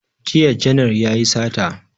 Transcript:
Jiya janar yayi sata